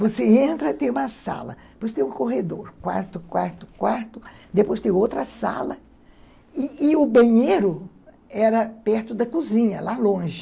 Você entra e tem uma sala, depois tem um corredor, quarto, quarto, quarto, depois tem outra sala e o banheiro e era perto da cozinha, lá longe.